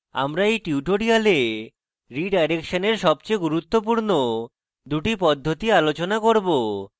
আমরা we tutorial রীডাইরেকশনের সবচেয়ে গুরুত্বপূর্ণ দুটি পদ্ধতি আলোচনা করব